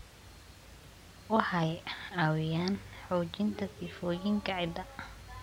Waxay caawiyaan xoojinta sifooyinka ciidda.